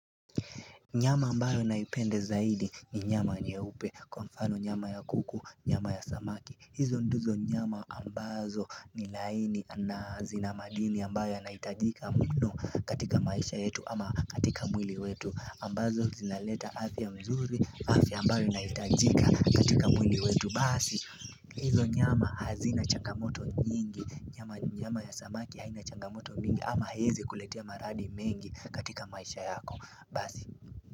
Nyama ambayo naipende zaidi ni nyama nyeupe, kwa mfano nyama ya kuku, nyama ya samaki hizo ndizo nyama ambazo ni laini na zina madini ambayo yanaitajika muno katika maisha yetu ama katika mwili wetu ambazo zinaleta afya mzuri, afya ambayo inahitajika katika mwili wetu Basi, hizo nyama hazina changamoto nyingi, nyama ya samaki haina changamoto mingi ama haiezi kuletia maradi mengi katika maisha yako base.